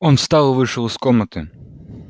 он встал и вышел из комнаты